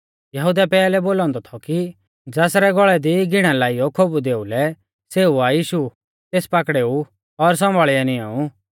यहुदै पैहलै बोलौ औन्दौ थौ कि ज़ासरै गौल़ै दी घीणा लाइयौ खोबु देउलै सेऊ आ यीशु तेस पाकड़ेउ और सौंभाल़ियौ निंएउ